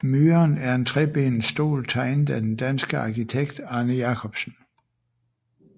Myren er en trebenet stol tegnet af den danske arkitekt Arne Jacobsen